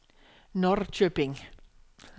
Norrköping